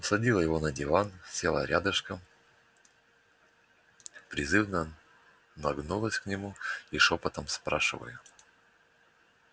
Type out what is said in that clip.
усадила его на диван села рядышком призывно нагнулась к нему и шёпотом спрашиваю